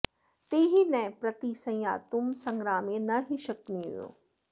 ते हि नः प्रतिसंयातुं संग्रामे न हि शक्नुयुः